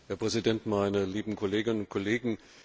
Herr Präsident, meine lieben Kolleginnen und Kollegen!